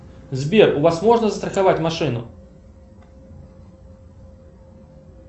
сбер у вас можно застраховать машину